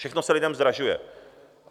Všechno se lidem zdražuje.